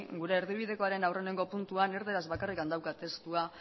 gure erdibidekoaren aurreneko puntuan erdaraz bakarrik daukat testua